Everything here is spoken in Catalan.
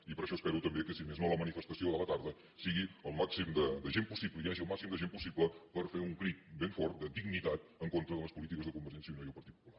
i per això espero també que si més no la manifestació de la tarda sigui del màxim de gent possible hi hagi el màxim de gent possible per fer un crit ben fort de dignitat en contra de les polítiques de convergència i unió i el partit popular